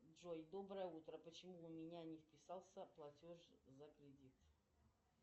джой доброе утро почему у меня не списался платеж за кредит